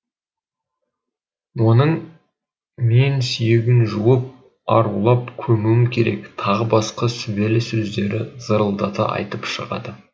оның мен сүйегін жуып арулап көмуім керек тағы басқа сүбелі сөздерді зырылдата айтып шығады